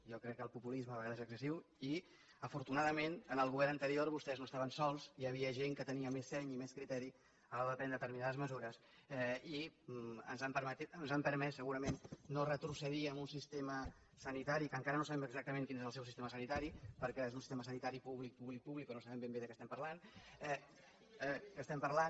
jo crec que el populisme a vegades és excessiu i afortunadament en el govern anterior vostès no estaven sols hi havia gent que tenia més seny i més criteri a l’hora de prendre determinades mesures i ens han permès segurament no retrocedir en un sistema sanitari que encara no sabem exactament quin és el seu sistema sanitari perquè és un sistema sanitari públic públic públic o no sabem ben bé de què estem parlant